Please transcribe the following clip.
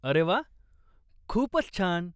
अरे वा! खूपच छान.